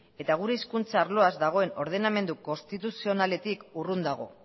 eta gure hizkuntza arloaz dagoen ordenamendu konstituzionaletik urrun dago